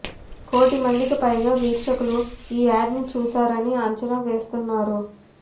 కోటి మందికి పైగా వీక్షకులు ఈ యాడ్ను చూశారని అంచనా వేస్తున్నారు